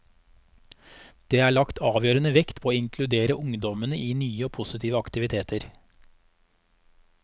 Det er lagt avgjørende vekt på å inkludere ungdommene i nye og positive aktiviteter.